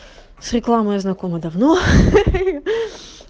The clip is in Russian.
с рекламой знакомы давно